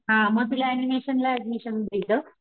हा म तिला ऍनिमेशन ला ऍडमिशन भेटलं,